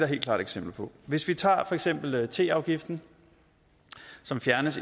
helt klart eksempler på hvis vi tager for eksempel teafgiften som fjernes